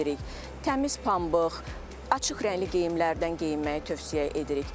Təmiz pambıq, açıq rəngli geyimlərdən geyinməyi tövsiyə edirik.